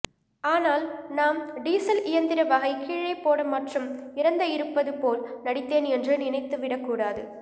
ஆனால் நாம் டீசல் இயந்திர வகை கீழே போட மற்றும் இறந்த இருப்பது போல் நடித்தேன் என்று நினைத்துவிடக்கூடாது